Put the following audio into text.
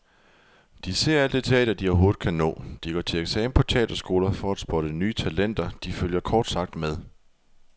De ser alt det teater, de overhovedet kan nå, de går til eksamen på teaterskoler for at spotte nye talenter, de følger kort sagt med.